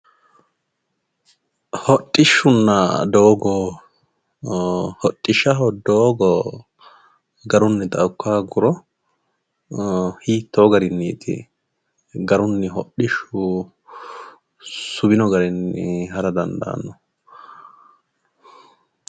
Hodhishshunna doogo, hodhishshaho doogo garunnitta ikka hooguro hiitto garinniti garuni hodhishshu suwino garinni ha'ra dandaanohu